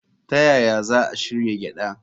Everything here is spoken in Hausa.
Ta yaya za a shirya gyada?